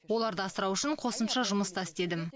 оларды асырау үшін қосымша жұмыс та істедім